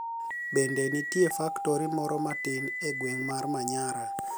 Benide niitie faktori moro matini e gwenig' mar Maniyara.